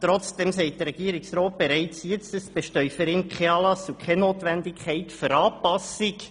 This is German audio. Trotzdem sagt der Regierungsrat bereits, für ihn bestünden kein Anlass und keine Notwendigkeit für Anpassungen.